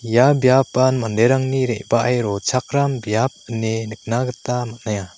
ia biapan manderangni re·bae rochakram biap ine nikna gita man·aia.